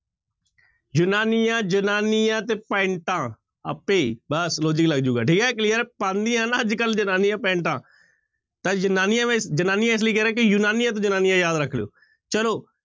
ਯੂਨਾਨੀਆਂ ਜ਼ਨਾਨੀਆਂ ਤੇ ਪੈਂਟਾ ਆਪੇ ਬਸ logic ਲੱਗ ਜਾਊਗਾ ਠੀਕ ਹੈ clear ਹੈ ਪਾਉਂਦੀਆਂ ਨਾ ਅੱਜ ਕੱਲ੍ਹ ਜ਼ਨਾਨੀਆਂ ਪੈਂਟਾਂ ਤਾਂ ਯੂਨਾਨੀਆਂ ਵਿ ਜ਼ਨਾਨੀਆਂ ਇਸ ਲਈ ਕਹਿ ਰਿਹਾਂ ਕਿ ਯੂਨਾਨੀਆਂ ਤੋਂ ਜ਼ਨਾਨੀਆਂ ਯਾਦ ਰੱਖ ਲਇਓ ਚਲੋ,